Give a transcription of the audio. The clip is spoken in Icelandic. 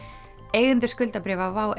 eigendur skuldabréfa WOW